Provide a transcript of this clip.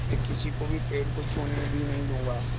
मैं किसी को भी पेड़ को छूने भी नहीं दूँगा